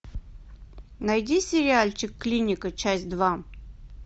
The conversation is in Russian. найди сериальчик клиника часть два